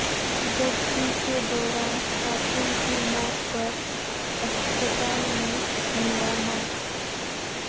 زچگی کے دوران خاتون کی موت پر اسپتال میں ہنگامہ